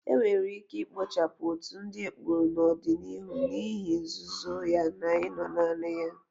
Enwere ike ikpochapụ otu ndị ekpo n'ọdịniihu n'ihi nzuzo ya na ino naanị ya.